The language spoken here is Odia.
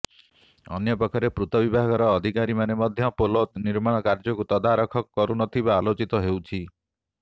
ଅନ୍ୟପକ୍ଷରେ ପୂର୍ତ୍ତବିଭାଗର ଅଧିକାରୀମାନେ ମଧ୍ୟ ପୋଲ ନିର୍ମାଣ କାର୍ଯ୍ୟକୁ ତଦାରଖ କରୁନଥିବା ଆଲୋଚିତ ହେଉଛି